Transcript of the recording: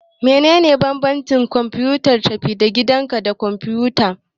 Menene bambancin kwamfutar tafi-da-gidanka da kwamfuta?